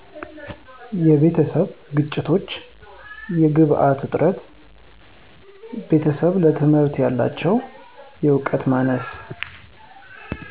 የቤተሰብ ግጭቶች የግብዓት እጥረት ቤተሰብ ለትምህርት ያላቸው እውቀት ማነስ